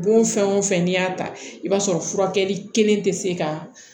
Bon fɛn o fɛn n'i y'a ta i b'a sɔrɔ furakɛli kelen tɛ se ka